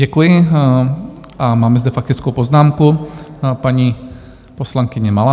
Děkuji, a mám zde faktickou poznámku, paní poslankyně Malá.